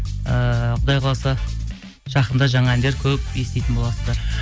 ііі құдай қаласа жақында жаңа әндер көп еститін боласыздар